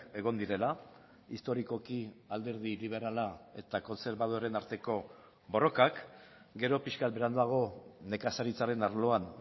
egon direla historikoki alderdi liberala eta kontserbadoreen arteko borrokak gero pixkat beranduago nekazaritzaren arloan